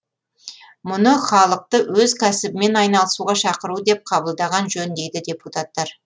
мұны халықты өз кәсібімен айналысуға шақыру деп қабылдаған жөн дейді депутаттар